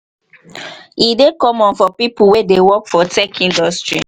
e dey common for pipo wey dey work for tech industry